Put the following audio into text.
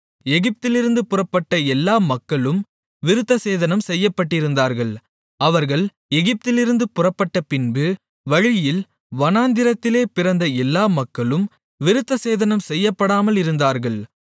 எகிப்திலிருந்து புறப்பட்ட எல்லா மக்களும் விருத்தசேதனம் செய்யப்பட்டிருந்தார்கள் அவர்கள் எகிப்திலிருந்து புறப்பட்டப்பின்பு வழியில் வனாந்திரத்திலே பிறந்த எல்லா மக்களும் விருத்தசேதனம் செய்யப்படாமலிருந்தார்கள்